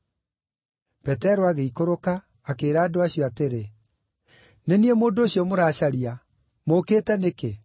Petero agĩikũrũka, akĩĩra andũ acio atĩrĩ, “Nĩ niĩ mũndũ ũcio mũracaria. Mũũkĩte nĩkĩ?”